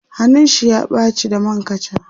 hannun shi ya ɓace da man kacha